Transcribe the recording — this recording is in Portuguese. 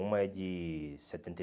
Uma é de setenta e